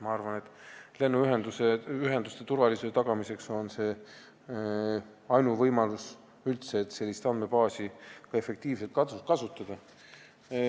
Ma arvan, et lennuühenduste turvalisuse tagamiseks on selline lahendus ainuvõimalik, et sellist andmebaasi saaks üldse efektiivselt kasutada.